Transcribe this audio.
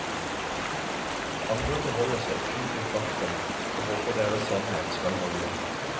Andre forholder seg kun til fakta og håper deres sannhet skal holde.